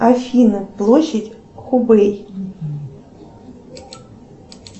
афина площадь хубэй